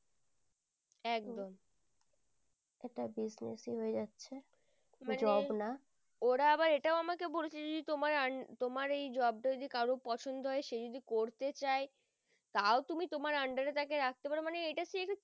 ওরা আবার এটাও আমাকে বলেছে যে তোমার এই job টা যদি কারোর পছন্দ হয় সে যদি করতে চাই তাও তুমি তোমার under তাকে রাখতে পারো মানে এটা